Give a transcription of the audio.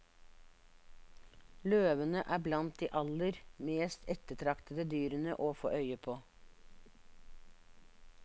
Løvene er blant de aller mest ettertraktede dyrene å få øye på.